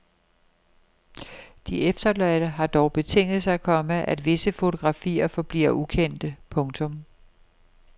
De efterladte har dog betinget sig, komma at visse fotografier forbliver ukendte. punktum